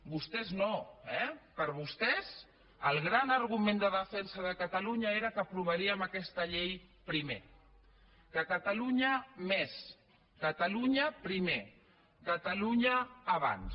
vostès no eh per vostès el gran argument de defensa de catalunya era que aprovaríem aquesta llei primer que catalunya més catalunya primer catalunya abans